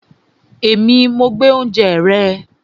Èmi, mo gbé oúnjẹ rẹ